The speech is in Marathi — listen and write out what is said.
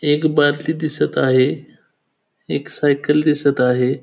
एक बादली दिसत आहे एक सायकल दिसत आहे.